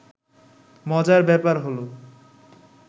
মজার ব্যাপার হলো